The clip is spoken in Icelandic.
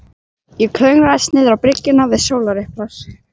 Ég klöngraðist niðrá bryggjuna við sólarupprás.